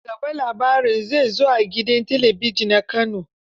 Ci gaban labarin zai zo a gidan talabijin na Kano.